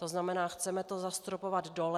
To znamená, chceme to zastropovat dole.